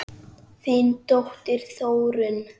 Þín dóttir, Þórunn.